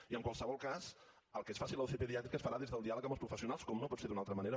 i en qualsevol cas el que es faci a la uci pediàtrica es farà des del diàleg amb els professionals com no pot ser d’una altra manera